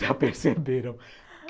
Já perceberam.